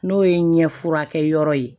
N'o ye n ɲɛfurakɛ yɔrɔ ye